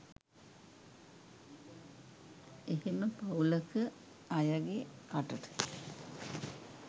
එහෙම පවුලක අයගෙ කටට